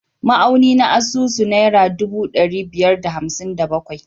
Ma’auni na asusu naira ɗubu ɗari biyar da hamsin da bakwai